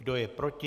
Kdo je proti?